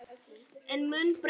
Ég mun berjast